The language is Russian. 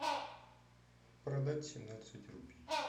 продать семнадцать рупий